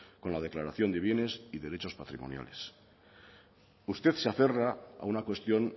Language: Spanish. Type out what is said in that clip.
con la declaración de bienes y derechos patrimoniales usted se aferra a una cuestión